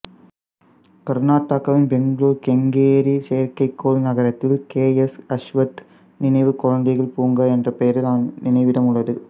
கர்நாடகாவின் பெங்களூர் கெங்கேரி செயற்கைக்கோள் நகரத்தில் கேஎஸ் அஸ்வத் நினைவு குழந்தைகள் பூங்கா என்ற பெயரில் நினைவிடம் உள்ளது